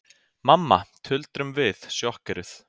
Mamma, tuldrum við, sjokkeruð.